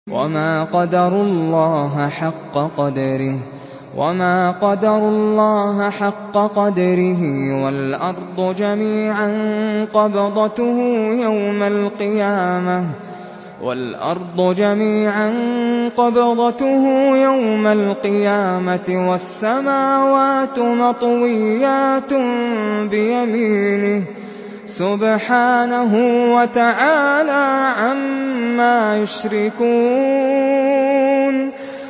وَمَا قَدَرُوا اللَّهَ حَقَّ قَدْرِهِ وَالْأَرْضُ جَمِيعًا قَبْضَتُهُ يَوْمَ الْقِيَامَةِ وَالسَّمَاوَاتُ مَطْوِيَّاتٌ بِيَمِينِهِ ۚ سُبْحَانَهُ وَتَعَالَىٰ عَمَّا يُشْرِكُونَ